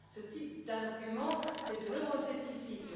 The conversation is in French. Ce type d'argument, c'est de l'euroscepticisme.